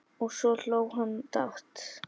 Og svo hló hann dátt!